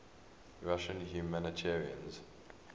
russian humanitarians